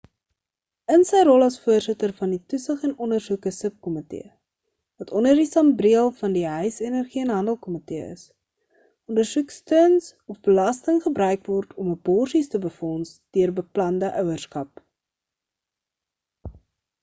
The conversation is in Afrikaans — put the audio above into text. in sy rol as voorsitter van die toesig en ondersoeke subkomitee wat onder die sambreel van die huis energie en handel komitee is ondersoek stearns of belasting gebruik word om aborsies te befonds deur beplande ouerskap